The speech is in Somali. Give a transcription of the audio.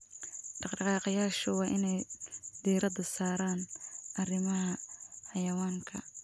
Dhaqdhaqaaqayaashu waa inay diiradda saaraan arrimaha xayawaanka.